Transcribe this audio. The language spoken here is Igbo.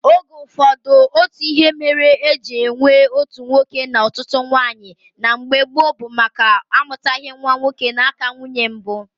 Oge ụfọdụ, otu ihe mere eji enwe otu nwoke na ọtụtụ nwaanyị na mgbe gboo bụ amụtaghị nwa nwoke n'aka nwunye mbụ